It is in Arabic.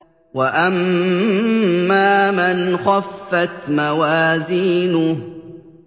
وَأَمَّا مَنْ خَفَّتْ مَوَازِينُهُ